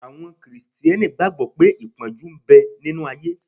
Àwọn Krìsìtẹ́nì gbàgbọ́ pé ìpọ́njú ń bẹ nínu ayé